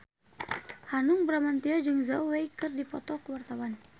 Hanung Bramantyo jeung Zhao Wei keur dipoto ku wartawan